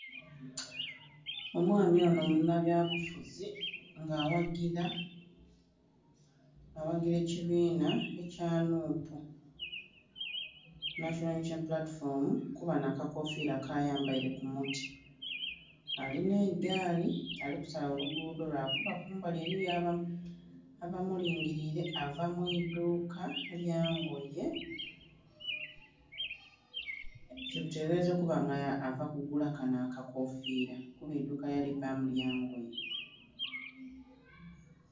Omwami onho munhabyabufuzi nga aghagila ekibiinha ekya "NUP" National Unity Platform, kuba nh'akakofiira kayambaile ku mutwe. Alinha eigaali ali kusala oluguudho lwakuba kumbali eliyo abamulingiliile. Ava mu idhuuka lya ngoye kitebelezebwa okuba nga ava kugula kanho akakofiira kuba eiduuka lyalivaamu lya ngoye.